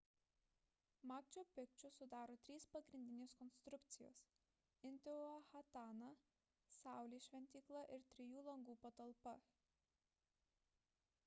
makču pikču sudaro 3 pagrindinės konstrukcijos intihuatana saulės šventykla ir trijų langų patalpa